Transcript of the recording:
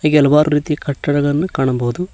ಹಾಗೆ ಹಲವಾರು ರೀತಿಯ ಕಟ್ಟಡಗಳನ್ನ ಕಾಣಬಹುದು